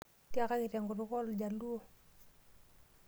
Tiakaki tenkutuk ooljaluo.